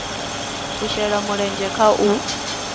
a shele mulenzhe kha u